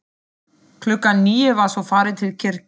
Klukkan níu var svo farið til kirkju.